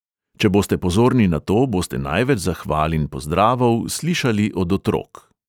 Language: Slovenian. Če boste pozorni na to, boste največ zahval in pozdravov slišali od otrok.